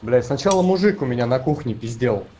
блять сначала мужик у меня на кухне пиздел